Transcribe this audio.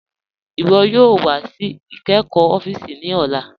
Iwọ yoo wà sí ìkẹ́kọ́ òfíìsì ní ọ̀là.